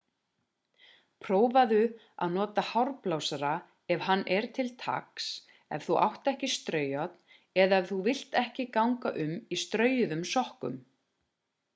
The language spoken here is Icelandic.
prófaðu að nota hárblásara ef hann er til taks ef þú átt ekki straujárn eða ef þú vilt ekki ganga um í straujuðum sokkum